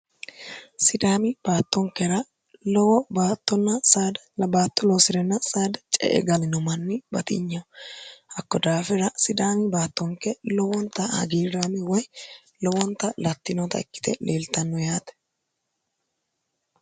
sidaami baattonkera lowo btrsd cee galino manni batinyeh hakko daafira sidaami baattonke lowonta hagiirraami woy lowonta lattinota ikkite leeltanno yaate